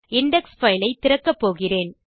index file ஐ திறக்கப்போகிறேன்